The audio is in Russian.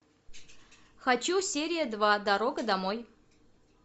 хочу серия два дорога домой